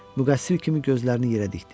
Müqəssir kimi gözlərini yerə dikdi.